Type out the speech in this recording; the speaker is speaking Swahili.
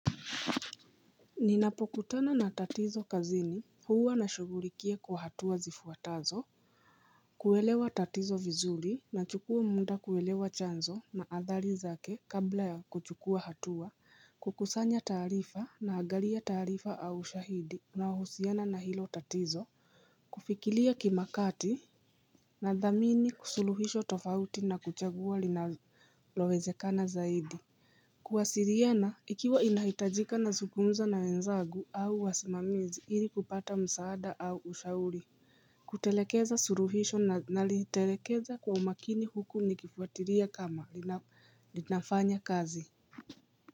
Ninapokutana na tatizo kazini huwa na shugurikia kwa hatua zifuatazo Kuelewa tatizo vizuri na chukua mda kuelewa chanzo na athali zake kabla ya kuchukua hatua Kukusanya taarifa na agalia taarifa au ushahidi unaohusiana na hilo tatizo Kufikilia kimakati na dhamini suluhisho tofauti na kuchagua linawezekana zaidi Kuwasiriana ikiwa inahitajika na zungumza na wenzagu au wasimamizi ili kupata msaada au ushauri Kutelekeza suruhisho na nalitelekeza kwa umakini huku nikifuatilia kama linafanya kazi.